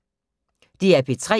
DR P3